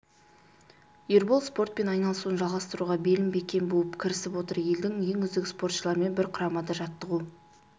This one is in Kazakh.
ербол спортпен айналысуын жалғастыруға белін бекем буып кірісіп отыр елдің ең үздік спортшылармен бір құрамада жаттығу